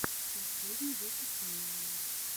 последний выпуск милана